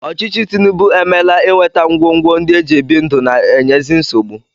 Ọchịchị Tinubu emeela inweta ngwongwo ndị e ji ebi ndụ na-enyezi nsogbu